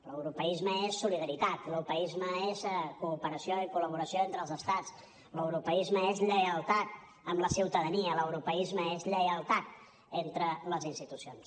l’europeisme és solidaritat l’europeisme és cooperació i col·laboració entre els estats l’europeisme és lleialtat amb la ciutadania l’europeisme és lleialtat entre les institucions